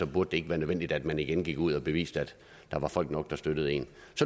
burde det ikke være nødvendigt at man igen gik ud og beviste at der er folk nok der støtter en